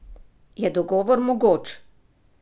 Je dogovor mogoč?